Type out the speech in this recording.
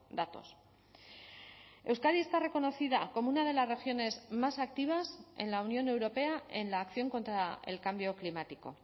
datos euskadi está reconocida como una de las regiones más activas en la unión europea en la acción contra el cambio climático